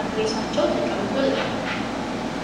አድራሻ ተፅፎበት እናያለን።